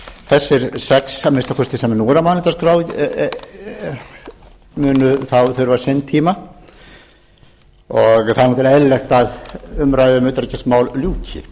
þessir sex að minnsta kosti sem nú eru á mælendaskrá munu þurfa sinn tíma og það er eðlilegt að umræðum um utanríkismál ljúki